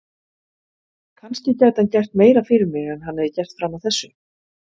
Kannski gæti hann gert meira fyrir mig en hann hefði gert fram að þessu.